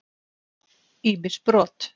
Ýmis brot